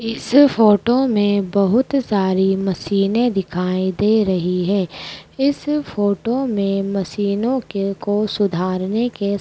इस फोटो में बहुत सारी मशीनें दिखाई दे रही है इस फोटो में मशीनों के को सुधारने के --